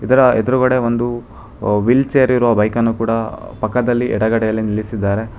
ಇದರ ಎದ್ರುಗಡೆ ಒಂದು ವೀಲ್ ಚೇರಿರುವ ಬೈಕನ್ನು ಕೂಡ ಪಕ್ಕದಲ್ಲಿ ಎಡಗಡೆಯಲ್ಲಿ ನಿಲ್ಲಿಸಿದ್ದಾರೆ.